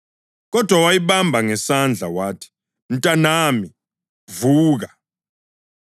Kodwa wayibamba ngesandla wathi, “Mntanami, vuka!”